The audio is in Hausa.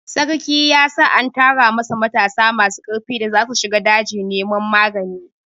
Sarki ya sa an tara masa matasa masu karfi da zasu shiga daji neman magani.